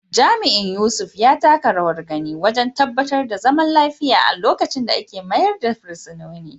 Jami’in Yusuf, ya taka rawar gani wajen tabbatar da zaman lafiya a lokacin da ake mayar da fursunonin.